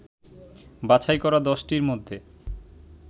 বাছাই করা ১০টির মধ্যে